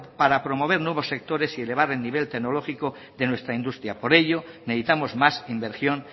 para promover nuevos sectores y elevar el nivel tecnológico de nuestra industria por ello necesitamos más inversión